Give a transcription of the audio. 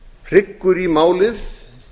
hryggur í málið